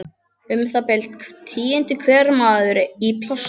Um það bil tíundi hver maður í plássinu.